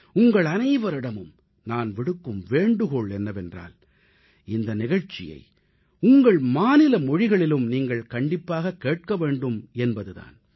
உங்களனைவரிடமும் நான் விடுக்கும் வேண்டுகோள் என்னவென்றால் இந்த நிகழ்ச்சியை உங்கள் மாநில மொழிகளிலும் நீங்கள் கண்டிப்பாக கேட்க வேண்டும் என்பது தான்